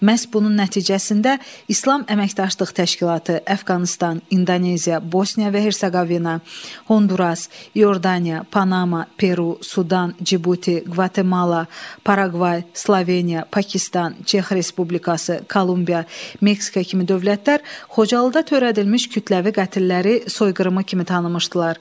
Məhz bunun nəticəsində İslam Əməkdaşlıq Təşkilatı, Əfqanıstan, İndoneziya, Bosniya və Herseqovina, Honduras, İordaniya, Panama, Peru, Sudan, Cibuti, Qvatemala, Paragvay, Sloveniya, Pakistan, Çex Respublikası, Kolumbiya, Meksika kimi dövlətlər Xocalıda törədilmiş kütləvi qətlləri soyqırımı kimi tanımışdılar.